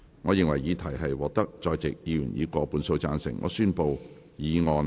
我認為議題獲得在席議員以過半數贊成。